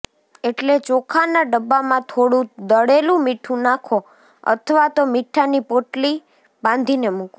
એટલે ચોખાના ડબ્બામાં થોડું દળેલું મીઠું નાખો અથવા તો મીઠાની પોટલી બાંધીને મૂકો